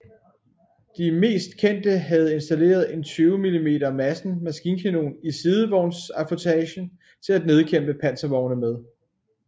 De mest kendte havde installeret en 20 mm Madsen maskinkanon i sidevognsaffutage til at nedkæmpe panservogne med